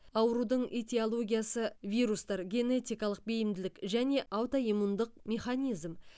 аурудың этиологиясы вирустар генетикалық бейімділік және аутоиммундық механизм